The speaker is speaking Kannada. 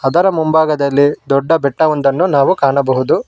ಇದರ ಮುಂಭಾಗದಲ್ಲಿ ದೊಡ್ಡ ಬೆಟ್ಟವೊಂದನ್ನು ನಾವು ಕಾಣಬಹುದು.